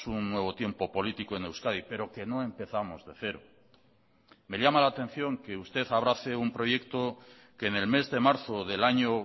un nuevo tiempo político en euskadi pero que no empezamos de cero me llama la atención que usted abrace un proyecto que en el mes de marzo del año